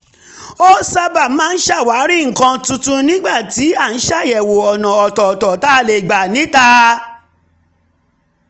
a sábà ń ṣàwárí nǹkan tuntun nígbà tí a ń ṣàyẹ̀wò ọ̀nà ọ̀tọ̀ọ̀tọ̀ tá a lè gbà níta